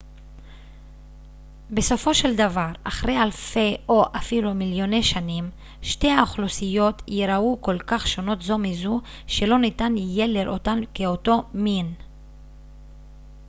בסופו של דבר אחרי אלפי או אפילו מיליוני שנים שתי האוכלוסיות ייראו כל כך שונות זו מזו שלא ניתן יהיה לראותן כאותו מין